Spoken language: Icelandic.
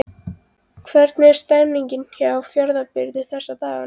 Hvernig er stemningin hjá Fjarðabyggð þessa dagana?